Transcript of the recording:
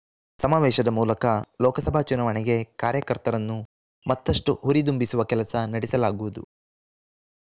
ಸಮಾವೇಶದ ಮೂಲಕ ಲೋಕಸಭಾ ಚುನಾವಣೆಗೆ ಕಾರ್ಯಕರ್ತರನ್ನು ಮತ್ತಷ್ಟುಹುರಿದುಂಬಿಸುವ ಕೆಲಸ ನಡೆಸಲಾಗುವುದು